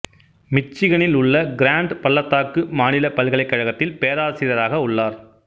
மிச்சிகனில் உள்ள கிராண்ட் பள்ளத்தாக்கு மாநில பல்கலைக்கழகத்தில் பேராசிரியராக உள்ளார்